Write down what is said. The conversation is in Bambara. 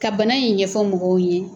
Ka bana in ɲɛfɔ mɔgɔw ye